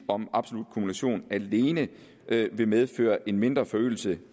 om absolut kumulation alene vil medføre en mindre forøgelse